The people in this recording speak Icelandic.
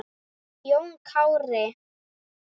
Jón Kári.